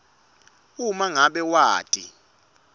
uma ngabe wati